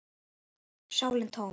sálin tóm.